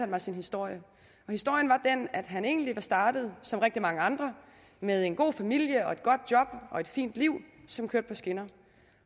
mig sin historie historien var den at han egentlig var startet som rigtig mange andre med en god familie og et godt job og et fint liv som kørte på skinner